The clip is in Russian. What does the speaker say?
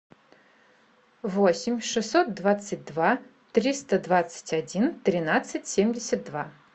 восемь шестьсот двадцать два триста двадцать один тринадцать семьдесят два